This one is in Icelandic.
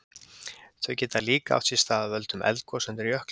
Þau geta líka átt sér stað af völdum eldgosa undir jökli.